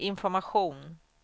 information